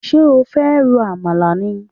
Ṣé o fẹ́ ro àmàlà ni?